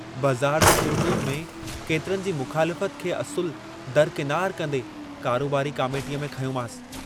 भुलिजी वञां, कीअं भुलिजी वञां?